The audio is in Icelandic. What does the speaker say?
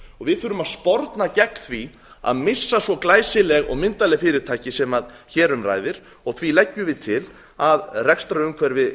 við þurfum að sporna gegn því að missa svo glæsileg og myndarleg fyrirtæki sem hér um ræðir og því leggjum við til að rekstrarumhverfi